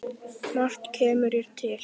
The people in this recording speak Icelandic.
Margt kemur hér til.